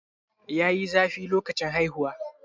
yayi zafi lokacin haihuwa?